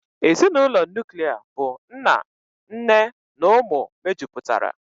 Ezinụlọ nuklia bụ nna, nne na ụmụ mejupụtara